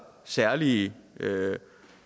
særlige